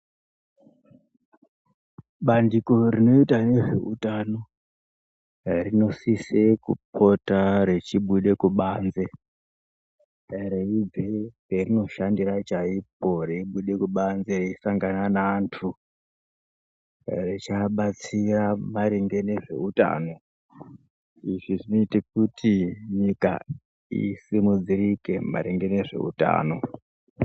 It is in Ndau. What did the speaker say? Bandiko rinoita ngezveutano rinosise kupota rechibuda kubanze reibve parinoshandira chaipo reibude kubanze reisangana neantu rechiabatsira maringe ngezveutano izvi zvinoita kuti nyika isimudzirike maringe ngezveutano.